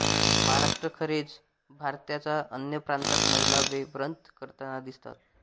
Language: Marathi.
महराष्ट्राखेरीज भारताच्या अन्य प्रांतात महिला हे व्रत करताना दिसतात